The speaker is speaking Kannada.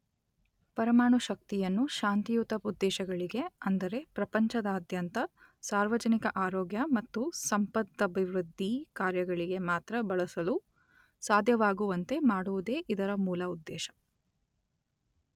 ಪರಮಾಣುಶಕ್ತಿಯನ್ನು ಶಾಂತಿಯುತ ಉದ್ದೇಶಗಳಿಗೆ ಅಂದರೆ ಪ್ರಪಂಚದಾದ್ಯಂತ ಸಾರ್ವಜನಿಕ ಆರೋಗ್ಯ ಮತ್ತು ಸಂಪದಭಿವೃದ್ಧಿ ಕಾರ್ಯಗಳಿಗೆ ಮಾತ್ರ ಬಳಸಲು ಸಾಧ್ಯವಾಗುವಂತೆ ಮಾಡುವುದೇ ಇದರ ಮೂಲ ಉದ್ದೇಶ.